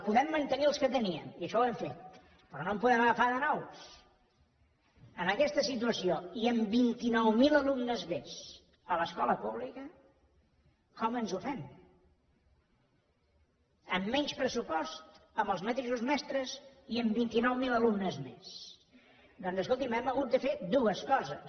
podem mantenir els que teníem i això ho hem fet però no en podem agafar de nous amb aquesta situació i amb vint nou mil alumnes més a l’escola pública com ens ho fem amb menys pressupost amb els mateixos mestres i amb vint nou mil alumnes més doncs escolti’m hem hagut de fer dues coses